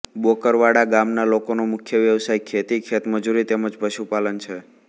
બોકરવાડા ગામના લોકોનો મુખ્ય વ્યવસાય ખેતી ખેતમજૂરી તેમ જ પશુપાલન છે